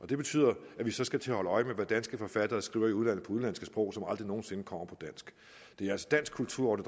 det betyder at vi så skal til at holde øje med hvad danske forfattere skriver i udlandet på udenlandske sprog som aldrig nogen sinde udkommer på dansk det er altså dansk kulturarv